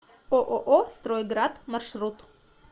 ооо строй град маршрут